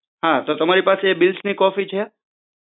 હા તો તમારી પાસે બિલ્સની કોપી છે